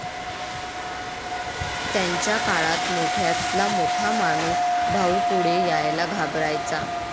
त्यांच्या काळात मोठ्यातला मोठा माणूस भाऊ पुढे यायला घाबरायचा